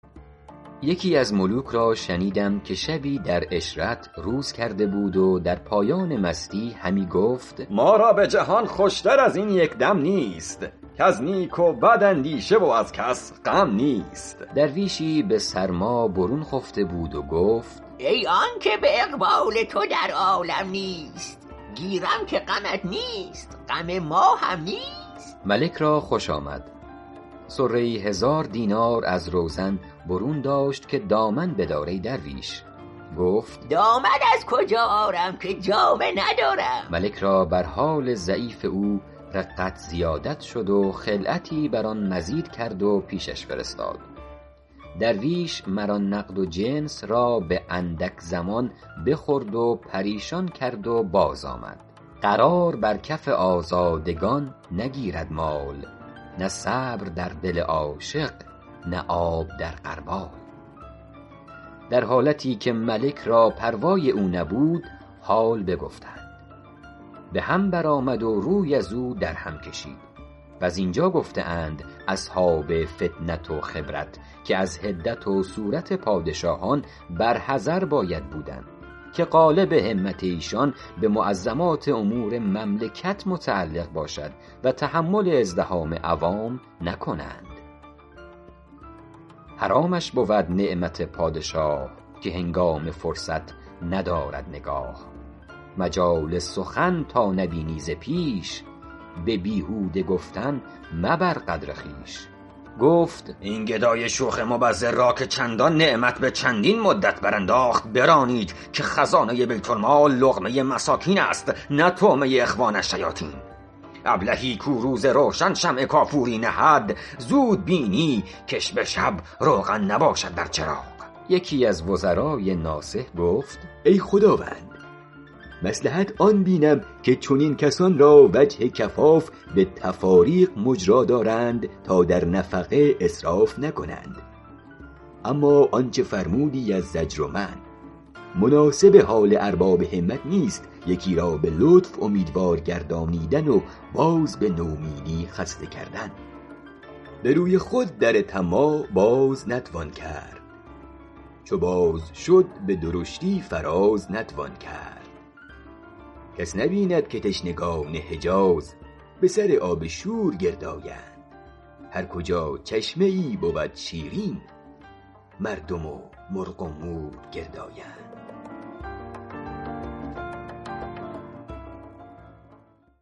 یکی از ملوک را شنیدم که شبی در عشرت روز کرده بود و در پایان مستی همی گفت ما را به جهان خوش تر از این یک دم نیست کز نیک و بد اندیشه و از کس غم نیست درویشی به سرما برون خفته بود و گفت ای آن که به اقبال تو در عالم نیست گیرم که غمت نیست غم ما هم نیست ملک را خوش آمد صره ای هزار دینار از روزن برون داشت که دامن بدار ای درویش گفت دامن از کجا آرم که جامه ندارم ملک را بر حال ضعیف او رقت زیادت شد و خلعتی بر آن مزید کرد و پیشش فرستاد درویش مر آن نقد و جنس را به اندک زمان بخورد و پریشان کرد و باز آمد قرار بر کف آزادگان نگیرد مال نه صبر در دل عاشق نه آب در غربال در حالتی که ملک را پروای او نبود حال بگفتند به هم بر آمد و روی ازو در هم کشید و زین جا گفته اند اصحاب فطنت و خبرت که از حدت و سورت پادشاهان بر حذر باید بودن که غالب همت ایشان به معظمات امور مملکت متعلق باشد و تحمل ازدحام عوام نکند حرامش بود نعمت پادشاه که هنگام فرصت ندارد نگاه مجال سخن تا نبینی ز پیش به بیهوده گفتن مبر قدر خویش گفت این گدای شوخ مبذر را که چندان نعمت به چندین مدت برانداخت برانید که خزانه بیت المال لقمه مساکین است نه طعمه اخوان الشیاطین ابلهی کو روز روشن شمع کافوری نهد زود بینی کش به شب روغن نباشد در چراغ یکی از وزرای ناصح گفت ای خداوند مصلحت آن بینم که چنین کسان را وجه کفاف به تفاریق مجرا دارند تا در نفقه اسراف نکنند اما آنچه فرمودی از زجر و منع مناسب حال ارباب همت نیست یکی را به لطف اومیدوار گردانیدن و باز به نومیدی خسته کردن به روی خود در طماع باز نتوان کرد چو باز شد به درشتی فراز نتوان کرد کس نبیند که تشنگان حجاز به سر آب شور گرد آیند هر کجا چشمه ای بود شیرین مردم و مرغ و مور گرد آیند